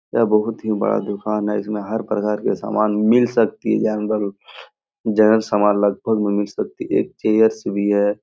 यह बहुत ही बड़ा दुकान है इसमें हर प्रकार के सामान मिल सकती है अंदर जनरल सामान लगभग मिल सकती है एक चेयर्स भी है।